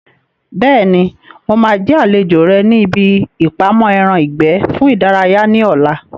Bẹ́ẹ̀ni, mo máa jẹ́ àlejò rẹ ní ibi ìpamọ́ ẹran ìgbẹ́ fún ìdárayá ní ọ̀la